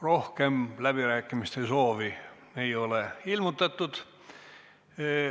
Rohkem läbirääkimiste soovi ei ole ilmutatud.